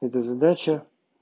это задача